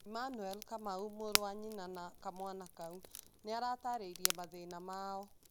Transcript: Emmanuel Kamau, mũrũ wa nyina na kamwana kau, nĩ aataarĩirie mathĩna mao.